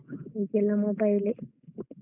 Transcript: ಈಗೆಲ್ಲ mobile A.